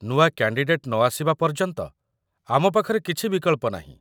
ନୂଆ କ୍ୟାଣ୍ଡିଡେଟ୍ ନ ଆସିବା ପର୍ଯ୍ୟନ୍ତ ଆମ ପାଖରେ କିଛି ବିକଳ୍ପ ନାହିଁ ।